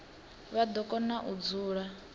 vha do kona u dzula